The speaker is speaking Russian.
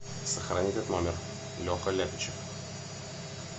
сохрани этот номер леха ляпичев